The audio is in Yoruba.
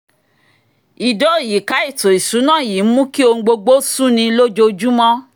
ìdóòyìká ètò ìṣúná yìí ń mú kí ohun gbogbo sú ni lójoojúmọ́